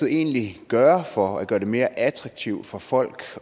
egentlig gøre for at gøre det mere attraktivt for folk